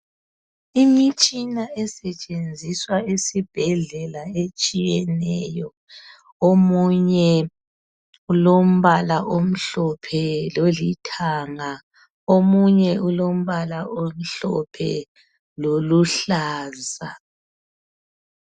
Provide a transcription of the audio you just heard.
Imitshina esetshenziswa esibhedlela etshiyeneyo, omunye ulombala omhlophe lolithanga, omunye ulombala omhlophe loluhlaza.